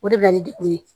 O de bɛ na ni degun ye